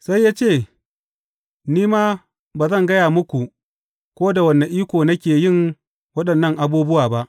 Sai ya ce, Ni ma ba zan gaya muku ko da wane iko nake yin waɗannan abubuwa ba.